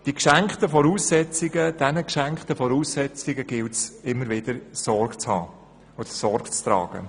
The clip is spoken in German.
Diesen geschenkten Voraussetzungen gilt es immer wieder Sorge zu tragen.